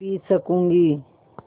P सकँूगी